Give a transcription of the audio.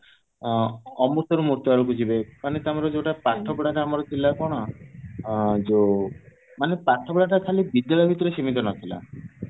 ମାନେ ତମର ଯୋଉଟା ପାଠ ପଢାଟା ଆମର ଥିଲା କଣ ଏ ଯୋଉ ମାନେ ପାଠପଢା ଟା ଖାଲି ବିଦ୍ୟାଳୟ ଭିତରେ ସୀମିତ ନଥିଲା